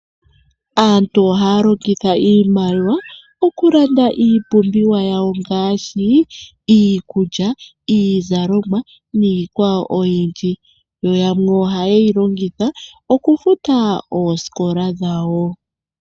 Aantu ohaya longitha iimaliwa okulanda iipumbiwa yawo ngaashi: iikulya, iizalomwa niikwawo oyindji. Yo yamwe ohaye yi longitha okufuta oosikola dhawo.